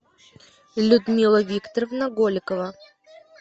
людмила викторовна голикова